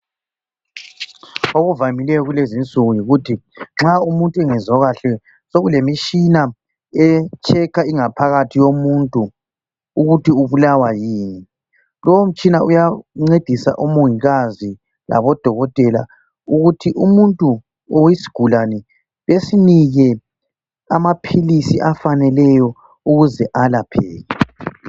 Okuvamileyo kulezinsuku yikuthi nxa umuntu bengezwa kahle sokulemitshina e checker ingaphakathi yomuntu ukuthi ubulawa yini , lowo mtshina uyancedisa omongikazi labodokotela ukuthi umuntu or isigulane besinike amaphilisi afaneleyo ukuze alapheke